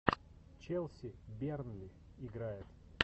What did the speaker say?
челси бернли играет